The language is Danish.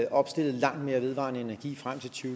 opstillet langt mere vedvarende energi frem til to